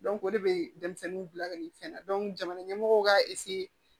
o de bɛ denmisɛnninw bila ka nin fɛn na jamana ɲɛmɔgɔw ka